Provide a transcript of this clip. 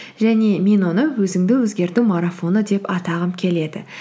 және мен оны өзіңді өзгерту марафоны деп атағым келеді